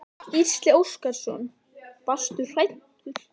Gísli Óskarsson: Varstu hræddur?